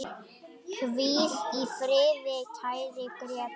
Hvíl í friði, kæri Grétar.